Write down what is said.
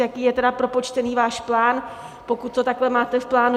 Jak je tedy propočtený váš plán, pokud to takhle máte v plánu?